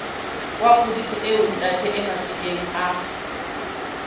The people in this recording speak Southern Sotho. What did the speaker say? wa kgodiso eo ntataemafikeng a